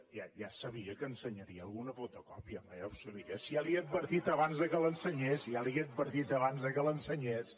ja sabia que ensenyaria alguna fotocòpia home ja ho sabia si ja li ho he advertit abans que l’ensenyés ja li ho he advertit abans que l’ensenyés